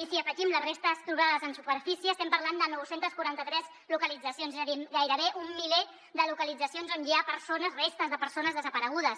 i si hi afegim les restes trobades en superfície estem parlant de nou cents i quaranta tres localitzacions és a dir gairebé un miler de localitzacions on hi ha restes de persones desaparegudes